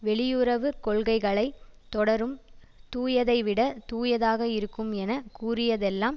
வெளியுறவு கொள்கைகளை தொடரும் தூயதைவிட தூயதாக இருக்கும் என கூறியதெல்லாம்